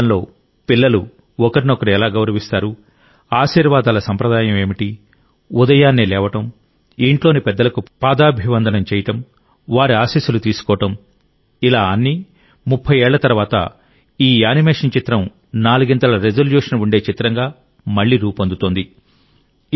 కుటుంబం లోపల పిల్లలు ఒకరినొకరు ఎలా గౌరవిస్తారు ఆశీర్వాదాల సంప్రదాయం ఏమిటి ఉదయాన్నే లేవడం ఇంట్లోని పెద్దలకు పాదాభివందనం చేయడం వారి ఆశీస్సులు తీసుకోవడం ఇలా అన్నీ 30 ఏళ్ల తర్వాత ఈ యానిమేషన్ చిత్రం నాలుగింతల రెజల్యూషన్ ఉండే చిత్రంగా మళ్ళీ రూపొందుతోంది